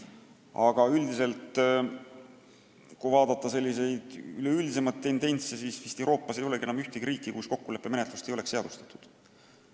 Aga kui vaadata sellist üleüldist tendentsi, siis näeme, et Euroopas ei ole vist enam ühtegi riiki, kus kokkuleppemenetlust ei ole seadustatud.